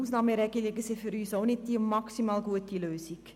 Ausnahmeregelungen sind für uns nicht die maximal gute Lösung.